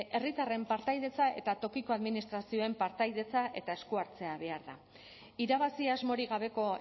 herritarren partaidetza eta tokiko administrazioen partaidetza eta esku hartzea behar da irabazi asmorik gabeko